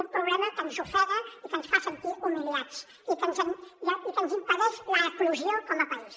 un problema que ens ofega i que ens fa sentir humiliats i que ens impedeix l’eclosió com a país